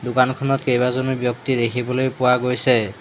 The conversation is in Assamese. দোকানখনত কেইবাজনো ব্যক্তি দেখিবলৈ পোৱা গৈছে।